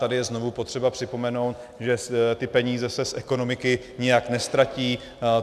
Tady je znovu potřeba připomenout, že ty peníze se z ekonomiky nijak neztratí.